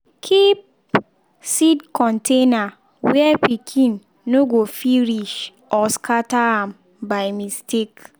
keep seed container where pikin no go fit reach or scatter am by mistake.